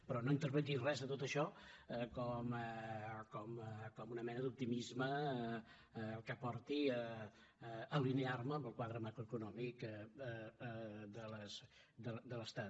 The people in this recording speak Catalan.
però no interpreti res de tot això com una mena d’optimisme que porti a alinearme amb el quadre macroeconòmic de l’estat